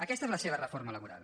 aquesta és la seva reforma laboral